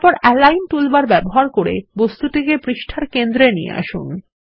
তারপর align toolbar ব্যবহার করে বস্তুটিকে পৃষ্ঠার কেন্দ্রে নিয়ে আসুন